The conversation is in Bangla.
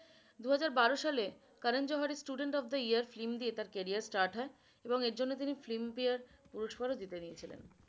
দুহাজার বারো সালে কারণ জোহার এর student of the year film দিয়ে তার career শুরু হয় এবং এর জন্য তিনি filmfare পুরস্কার জিতে নিয়েছিলেন।